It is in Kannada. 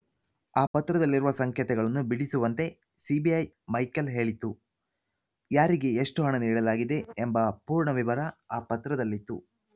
ಆ ಪತ್ರದಲ್ಲಿರುವ ಸಂಕೇತಗಳನ್ನು ಬಿಡಿಸುವಂತೆ ಸಿಬಿಐ ಮೈಕೆಲ್‌ ಹೇಳಿತ್ತು ಯಾರಿಗೆ ಎಷ್ಟುಹಣ ನೀಡಲಾಗಿದೆ ಎಂಬ ಪೂರ್ಣ ವಿವರ ಆ ಪತ್ರದಲ್ಲಿತ್ತು